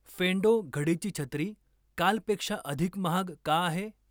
फेंडो घडीची छत्री कालपेक्षा अधिक महाग का आहे?